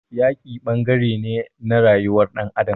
Yaki ɓangaren ne na rayuwar ɗan adam.